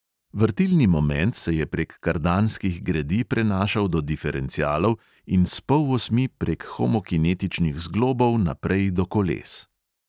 Vrtilni moment se je prek kardanskih gredi prenašal do diferencialov in s polosmi prek homokinetičnih zglobov naprej do koles.